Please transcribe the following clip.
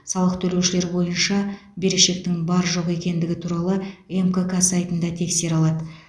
салық төлеушілер бойынша берешектің бар жоқ екендігі туралы мкк сайтында тексере алады